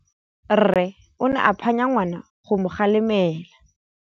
Rre o ne a phanya ngwana go mo galemela.